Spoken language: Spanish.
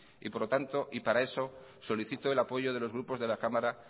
por lo tanto y para eso solicito el apoyo de los grupos de la cámara